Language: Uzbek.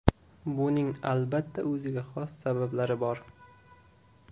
Buning, albatta, o‘ziga xos sabablari bor.